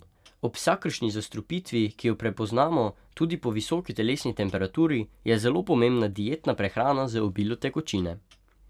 Ob vsakršni zastrupitvi, ki jo prepoznamo tudi po visoki telesni temperaturi, je zelo pomembna dietna prehrana z obilo tekočine.